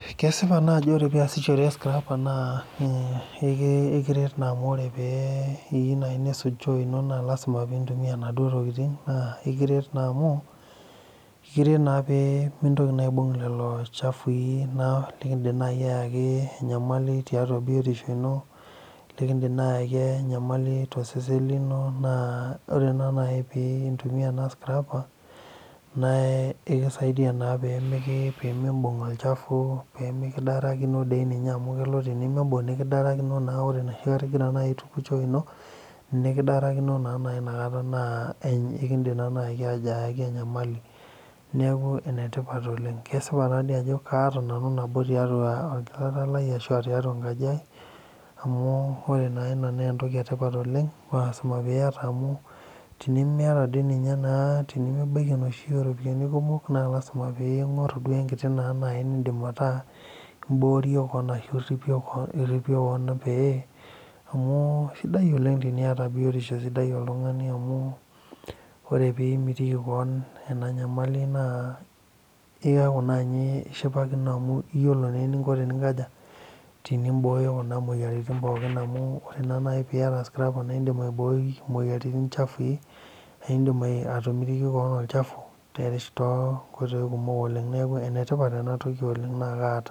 Kesipa taa ajo ore peiyasishore scraper naa eriret naa pee iyie naaji nisuj choo ino naa lazima peintumkya inaduo tokitin naa ekiret naa amu mintoki naa aibung lelo chafui naa lindiim naaji ayaki enyamali tiatua biotisho ino likindiim naaji aayaki enyamali tosesen naa ore naaji peintumia ena scraper naaekisaidia naa peemimbung olchafu peemilidarakino doi ninye amu kelo nimbung nikidarakino naa ore enoshi kata inkira ino ninidarakino naa keidim ayaki enyamali neeku enetipat oleng kesipa taadoi ajo kaata nanu nabo tiatua enkaji aai amu ore naa ina maa entoki etipat oleng amu teni miata ninye naa tenemibaili enoshi ooropiyiani kumok naa lazima peeing'oru enkiti naa naaji nindiim meeta imboorie kewon ashu iripie kewon pee amu sidai teniata biotisho sidai amu ore peeimitiki kewon ena nyamali naa iyaku naa ninye ishipakino amu iyiolo naa eninko teninkaja tenimbooyo kuna moyiaritin pookin amu ore naa naaji teniata scraper naa indiim aiboi imoyiaritin chafui naa indiim atomitiki kewon olchafu toonkoitoi kumok oleng neeku enetipat ena toli oleng naa kaata.